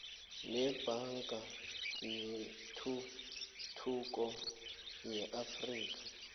nebhanka yetuthuko yeafrika